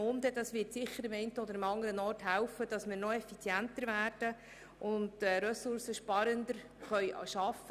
Diese wird sicher am einen oder anderen Ort dazu beitragen, noch effizienter zu werden und ressourcensparender zu arbeiten.